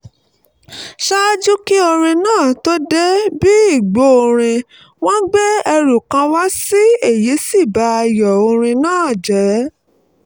ṣáájú kí orin náà tó dé bí igbórin-in wọ́n gbé ẹrù kan wá èyí sì ba ayọ̀ orin náà jẹ́